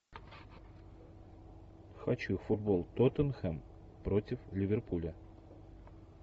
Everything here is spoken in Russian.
хочу футбол тоттенхэм против ливерпуля